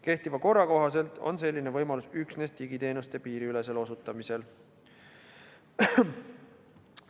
Kehtiva korra kohaselt on selline võimalus üksnes digiteenuste piiriülesel osutamisel.